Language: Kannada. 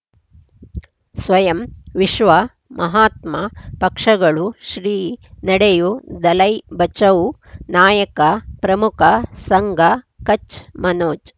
ಸ್ವಯಂ ವಿಶ್ವ ಮಹಾತ್ಮ ಪಕ್ಷಗಳು ಶ್ರೀ ನಡೆಯೂ ದಲೈ ಬಚೌ ನಾಯಕ ಪ್ರಮುಖ ಸಂಘ ಕಚ್ ಮನೋಜ್